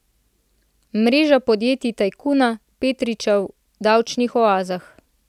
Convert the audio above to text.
Mreža podjetij tajkuna Petriča v davčnih oazah.